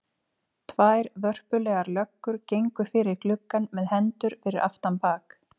Tvær vörpulegar löggur gengu fyrir gluggann með hendur fyrir aftan bak.